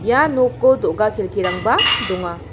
ia noko do·ga kelkirangba donga.